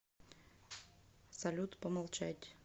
салют помолчать